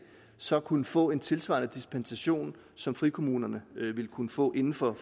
så kunne få en tilsvarende dispensation som frikommunerne vil kunne få inden for